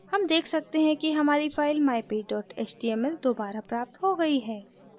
हम देख सकते हैं कि हमारी file mypage html दोबारा प्राप्त हो गयी है